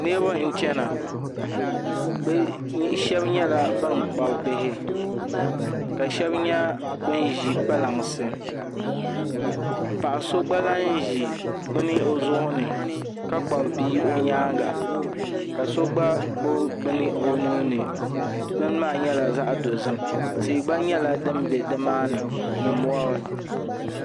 Niraba n chɛna shab nyɛla ban kpabi bihi ka shab nyɛ ban ʒi kpalansi paɣa so gba lahi ʒi bini o zuɣu ni ka kpabi bia o nyaanga ka so gba gbubi bini o nuuni bin maa nyɛla zaɣ dozim tia gba nyɛla din bɛ nimaani ni mori